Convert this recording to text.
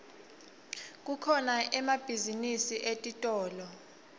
kukhona emabhizinisi etitolo